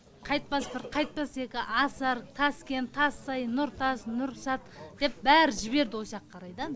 қайтпас бір қайтпас екі асар таскент тассай нұртас нұрсат деп бәрі жіберді осыяқ қарай да